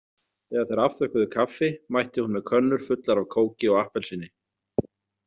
Þegar þeir afþökkuðu kaffi mætti hún með könnur fullar af kóki og appelsíni.